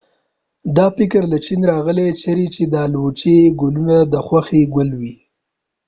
دا فکر له چین راغلی چېرې چې د الوچې ګلونه د خوښې ګل و